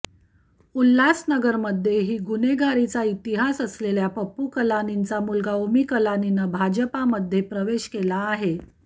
उल्हासनगरमध्येही गुन्हेगारीचा इतिहास असलेल्या पप्पू कलानींचा मुलगा ओमी कलानीनं भाजपमध्ये प्रवेश केला आहे